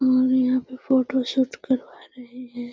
और यहाँ पर फोटो शूट करावा रहे हैं।